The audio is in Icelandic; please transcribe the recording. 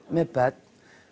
með börn